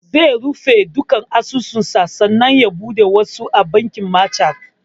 Zai rufe duka asusu sa sannan ya buɗe wasu a bankin machat